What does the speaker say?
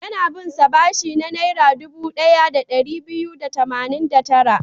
Yana bin sa bashi na Naira dubu ɗaya da ɗari biyu da tamanin da tara.